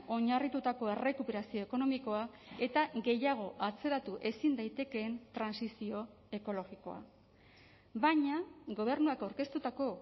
oinarritutako errekuperazio ekonomikoa eta gehiago atzeratu ezin daitekeen trantsizio ekologikoa baina gobernuak aurkeztutako